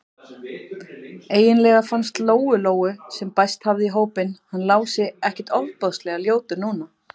Eiginlega fannst Lóu-Lóu, sem bæst hafði í hópinn, hann Lási ekkert ofboðslega ljótur núna.